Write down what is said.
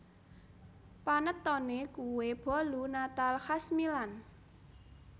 Panettone kue bolu natal khas Milan